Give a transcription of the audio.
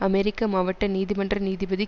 அமெரிக்க மாவட்ட நீதிமன்ற நீதிபதி